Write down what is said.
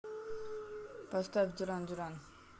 поставь дюран дюран